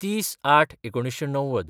३०/०८/१९९०